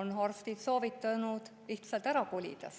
on arstid soovitanud lihtsalt ära kolida.